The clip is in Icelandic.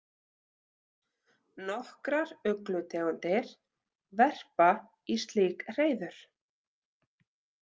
Nokkrar uglutegundir verpa í slík hreiður.